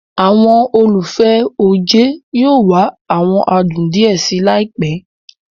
Àwọn olùfẹ́ oje yóò wá awọn adùn díẹ̀ síi laipe